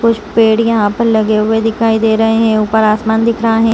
कुछ पेड़ यहां पर लगे हुए दिखाई दे रहे हैं ऊपर आसमान दिख रहा है।